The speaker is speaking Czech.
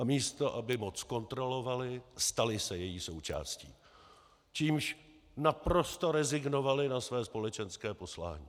A místo, aby moc kontrolovaly, staly se její součástí, čímž naprosto rezignovaly na své společenské poslání.